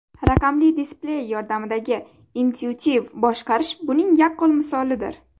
Raqamli displey yordamidagi intuitiv boshqarish buning yaqqol misolidir.